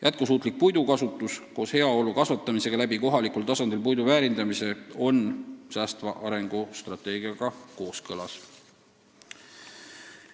Jätkusuutlik puidukasutus koos heaolu suurendamisega kohalikul tasandil puidu väärindamise abil on säästva arengu strateegiaga kooskõlas.